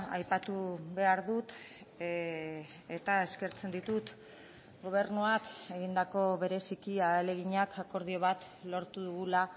aipatu behar dut eta eskertzen ditut gobernuak egindako bereziki ahaleginak akordio bat lortu dugula